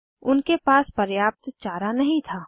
उनके पास पर्याप्त चारा नहीं था